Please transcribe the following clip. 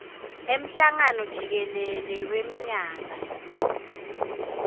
emhlangano jikelele wemnyaka